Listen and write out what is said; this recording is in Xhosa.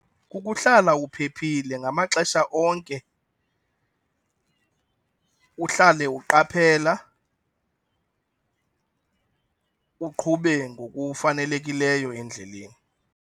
Kukuhlala uphephile ngamaxesha onke , uhlale uqaphela uqhube ngokufanelekileyo endleleni.